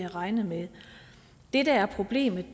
regnet med det der er problemet